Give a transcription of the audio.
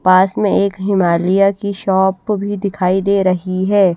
पास में एक हिमालया की शॉप भी दिखाई दे रही है।